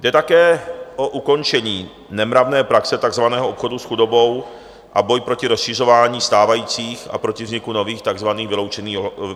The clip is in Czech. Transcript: Jde také o ukončení nemravné praxe takzvaného obchodu s chudobou a boj proti rozšiřování stávajících a proti vzniku nových takzvaných vyloučených lokalit.